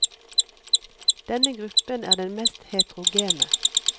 Denne gruppen er den mest heterogene.